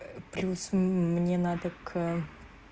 плюс мне надо к